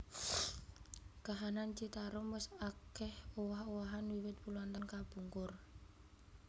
Kahanan Citarum wis akèh owah owahan wiwit puluhan taun kapungkur